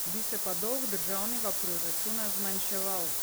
Bi se pa dolg državnega proračuna zmanjševal.